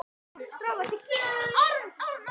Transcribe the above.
Séð til norðvesturs.